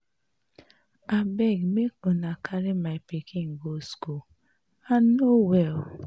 Abeg make una help me carry my pikin go school I no well